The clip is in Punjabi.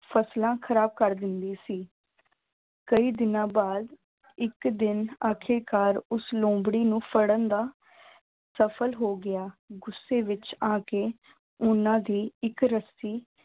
ਫਸਲਾਂ ਖ਼ਰਾਬ ਕਰ ਦਿੰਦੀ ਸੀ ਕਈ ਦਿਨਾਂ ਬਾਅਦ ਇੱਕ ਦਿਨ ਆਖ਼ਰਿਕਾਰ ਉਸ ਲੂੰਬੜੀ ਨੂੰ ਫੜਨ ਦਾ ਸਫ਼ਲ ਹੋ ਗਿਆ ਗੁੱਸੇ ਵਿੱਚ ਆ ਕੇ ਉਹਨਾਂ ਦੀ ਇੱਕ ਰੱਸੀ